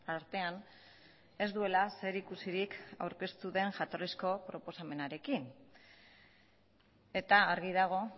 artean ez duela zerikusirik aurkeztu den jatorrizko proposamenarekin eta argi dago